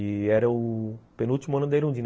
E era o penúltimo ano da Irundina.